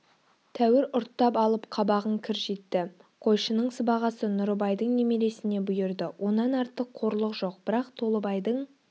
тәуір ұрттап алып қабағын кіржитті қойшының сыбағасы нұрыбайдың немересіне бұйырды онан артық қорлық жоқ бірақ толыбайдың